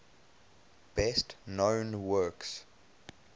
best known works